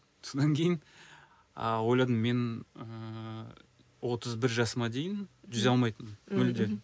сонан кейін ы ойладым мен ыыы отыз бір жасыма дейін жүзе алмайтын мүлдем